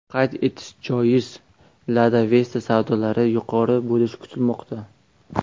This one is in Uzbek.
Qayd etish joiz, Lada Vesta savdolari yuqori bo‘lishi kutilmoqda.